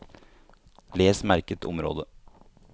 Les merket område